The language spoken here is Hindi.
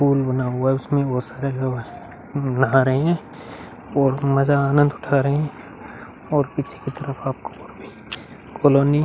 पूल बना हुआ है। उसमे बहोत सारा लोग नहा रहे हैं और मजा आनंद उठा रहे हैं और पीछे की तरफ आपको कालोनी --